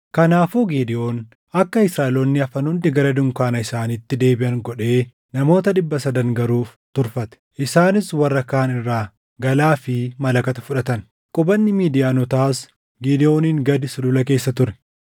Kanaafuu Gidewoon akka Israaʼeloonni hafan hundi gara dunkaana isaaniitti deebiʼan godhee namoota dhibba sadan garuu turfate; isaanis warra kaan irraa galaa fi malakata fudhatan. Qubanni Midiyaanotaas Gidewooniin gad sulula keessa ture.